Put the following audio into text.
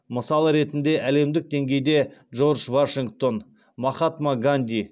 мысал ретінде әлемдік деңгейде джордж вашингтон махатма ганди